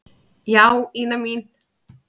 Já, Ína mín.